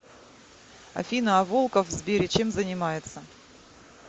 афина а волков в сбере чем занимается